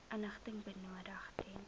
inligting benodig ten